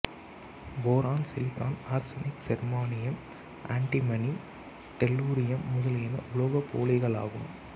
boron silicon arsenic germanium antimony tellurium முதலியன உலோகப்போலிகளாகும்